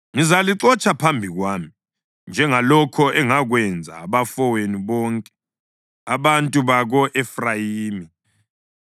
Ngizalixotsha phambi kwami, njengalokho engakwenza abafowenu bonke, abantu bako-Efrayimi.’